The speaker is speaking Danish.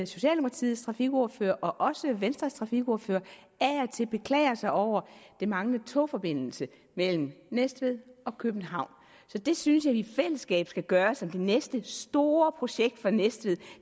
socialdemokratiets trafikordfører og også venstres trafikordfører af og til beklager sig over den manglende togforbindelse mellem næstved og københavn så det synes jeg at vi i fællesskab skal gøre til det næste store projekt for næstved